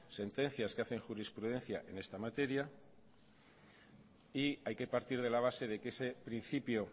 sentencias que hacen jurisprudencia en esta materia y hay que partir de la base de que ese principio